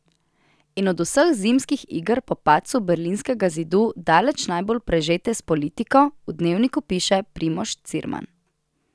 In od vseh zimskih iger po padcu berlinskega zidu daleč najbolj prežete s politiko, v Dnevniku piše Primož Cirman.